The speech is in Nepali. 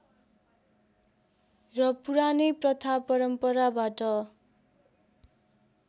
र पुरानै प्रथा परम्पराबाट